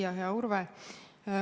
Hea Urve!